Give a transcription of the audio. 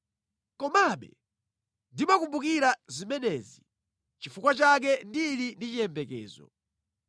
Komabe ndimakumbukira zimenezi, nʼchifukwa chake ndili ndi chiyembekezo.